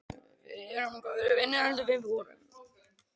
Við erum góðir vinir heldur við vorum.